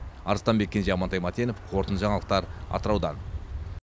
арыстанбек кенже амантай мәтенов қорытынды жаңалықтар атыраудан